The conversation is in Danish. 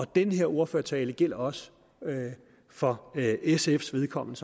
den her ordførertale gælder også for sfs vedkommende